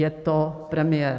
Je to premiér.